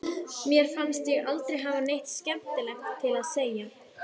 Mér fannst ég aldrei hafa neitt skemmtilegt að segja.